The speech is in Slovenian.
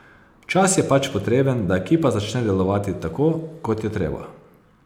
Čas je pač potreben, da ekipa začne delovati tako, kot je treba.